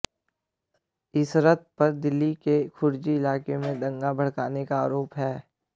इशरत पर दिल्ली के खुरेजी इलाके में दंगा भड़काने का आरोप है